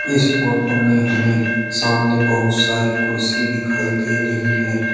इस फोटो में हमें सामने बहुत सारी कुर्सी दिखाई देरही है।